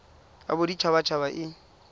ya bodit habat haba e